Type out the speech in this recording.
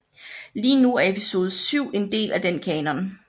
Lige nu er Episode VII en del af den kanon